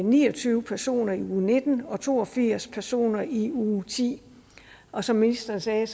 ni og tyve personer i uge nitten og to og firs personer i uge ti og som ministeren sagde